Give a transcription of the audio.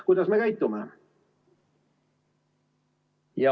Kuidas me käitume?